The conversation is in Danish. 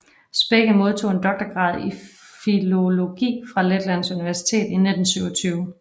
Spekke modtog en doktorgrad i filologi fra Letlands Universitet i 1927